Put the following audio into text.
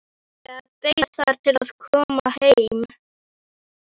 Inga beið þar til hann kom heim.